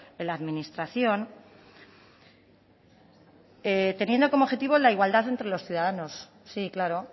en la administración teniendo como objetivo la igualdad entre los ciudadanos sí claro